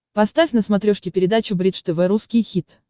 поставь на смотрешке передачу бридж тв русский хит